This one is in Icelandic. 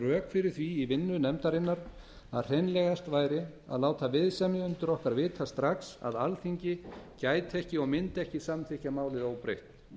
fyrir því í vinnu nefndarinnar að hreinlegast væri að láta viðsemjendur okkar vita strax að alþingi gæti ekki og mundi ekki samþykkja málið óbreytt